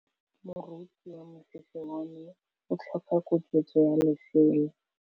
Moroki wa mosese wa me o tlhoka koketsô ya lesela.